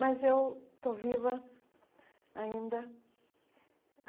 Mas eu estou viva ainda.